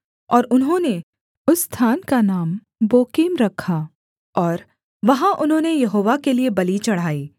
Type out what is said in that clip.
और उन्होंने उस स्थान का नाम बोकीम रखा और वहाँ उन्होंने यहोवा के लिये बलि चढ़ाई